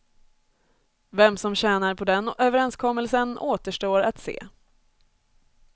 Vem som tjänar på den överenskommelsen återstår att se.